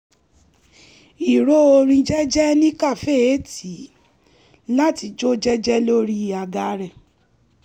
ìró orin jẹ́jẹ́ ní kàféè tì í láti jó jẹ́jẹ́ lórí àga rẹ̀